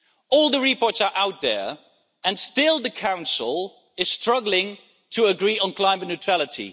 All the reports are out there and still the Council is struggling to agree on climate neutrality.